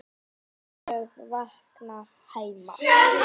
ólög vakna heima.